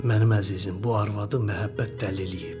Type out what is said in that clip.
Mənim əzizim, bu arvadı məhəbbət dəliləyib.